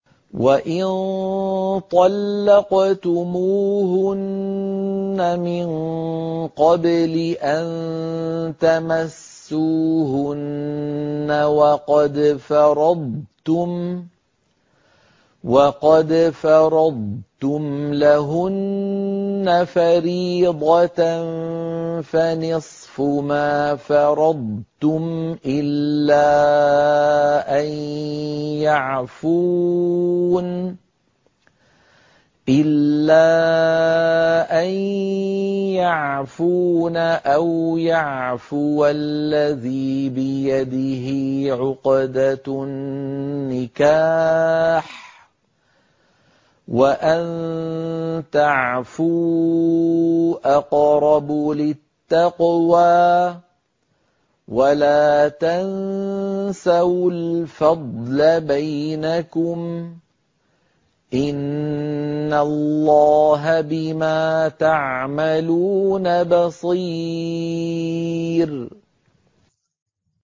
وَإِن طَلَّقْتُمُوهُنَّ مِن قَبْلِ أَن تَمَسُّوهُنَّ وَقَدْ فَرَضْتُمْ لَهُنَّ فَرِيضَةً فَنِصْفُ مَا فَرَضْتُمْ إِلَّا أَن يَعْفُونَ أَوْ يَعْفُوَ الَّذِي بِيَدِهِ عُقْدَةُ النِّكَاحِ ۚ وَأَن تَعْفُوا أَقْرَبُ لِلتَّقْوَىٰ ۚ وَلَا تَنسَوُا الْفَضْلَ بَيْنَكُمْ ۚ إِنَّ اللَّهَ بِمَا تَعْمَلُونَ بَصِيرٌ